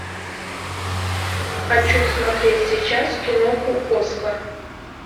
хочу смотреть сейчас киноху оскар